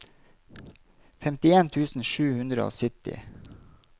femtien tusen sju hundre og sytti